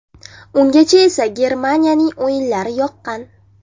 Ungacha esa Germaniyaning o‘yinlari yoqqan.